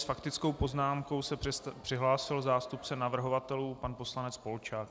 S faktickou poznámkou se přihlásil zástupce navrhovatelů pan poslanec Polčák.